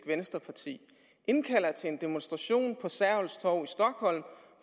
vänsterpartiet indkalder til en demonstration